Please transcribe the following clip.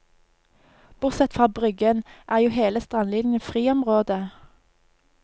Bortsett fra bryggen, er jo hele strandlinjen friområde.